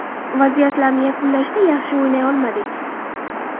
Vaziyatlarni yakunlashda yaxshi o‘ynay olmadik?